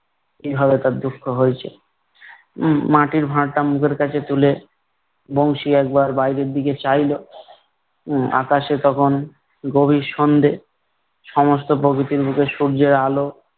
কীভাবে তার দুঃখ হয়েছে । উম মাটির ভাঁড়টা মুখের কাছে তুলে, বংশী একবার বাইরের দিকে চাইল। উম আকাশে তখন গভীর সন্ধ্যে সমস্ত প্রকৃতির বুকে সূর্যের আলো